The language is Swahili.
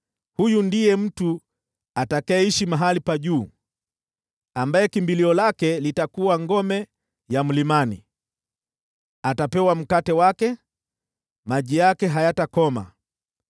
huyu ndiye mtu atakayeishi mahali pa juu, ambaye kimbilio lake litakuwa ngome ya mlimani. Atapewa mkate wake, na maji yake hayatakoma.